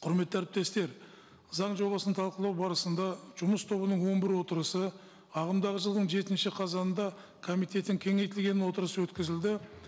құрметті әріптестер заң жобасын талқылау барысында жұмыс тобының он бір отырысы ағымдағы жылдың жетінші қазанында комитеттің кеңейтілген отырысы өткізілді